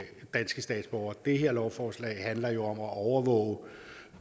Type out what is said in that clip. danske statsborgere det her lovforslag handler jo om at overvåge